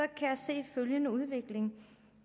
kan jeg se følgende udvikling